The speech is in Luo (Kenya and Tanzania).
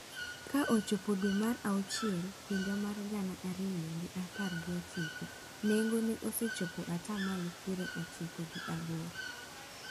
Ka ochopo dwe mar auchiel higa mar gana ariyo gi apar gi ochiko, nengo ne osechopo ata malo piero ochiko gi aboro.